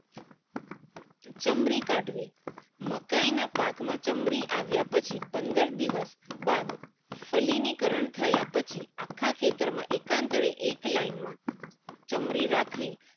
ચમરી કાઢવી મકાય ના પાક માં ચમરી આવ્યા પછી પંદર દિવસ બાદ ફલીનીકરણ થયા પછી અખા ખેતરે એકાંતરે એક line માં ચમરી રાખવી